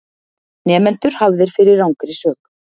Nemendur hafðir fyrir rangri sök